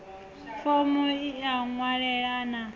fomo i a wanalea na